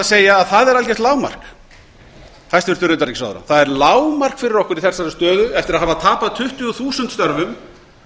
segja að það er algert lágmark hæstvirts utanríkisráðherra það er lágmark fyrir okkur í þessari stöðu eftir að hafa tapað tuttugu þúsund störfum